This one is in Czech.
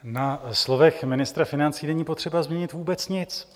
Na slovech ministra financí není potřeba změnit vůbec nic.